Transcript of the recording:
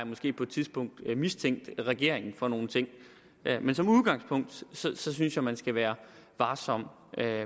måske på et tidspunkt har mistænkt regeringen for nogle ting men som udgangspunkt synes synes jeg man skal være varsom